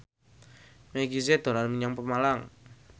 Meggie Z dolan menyang Pemalang